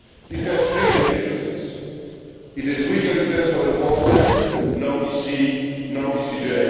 It has three deficiencies. It is weaker in terms of enforcement no EC, no ECJ